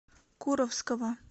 куровского